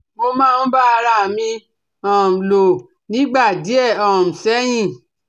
Mo máa ń bá ara à mi um lò nígbà díẹ̀ um sẹ́yìn